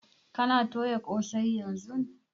Kana toya ƙosai yanzun?